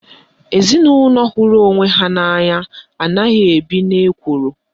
Ezinaụlọ hụrụ onwe ha n'anya anaghị ebi n'ekworo